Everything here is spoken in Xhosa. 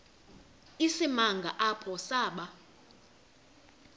isimanga apho saba